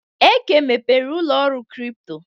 Eke mepere n'ụlọ ọrụ kripto.